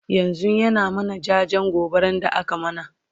yanzun ya na mana jajen gobaran da aka mana